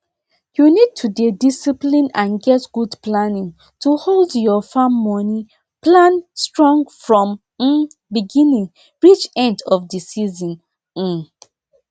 you need to dey discipline and get good planning to hold your farm moni plan strong from um beginning reach end of the season um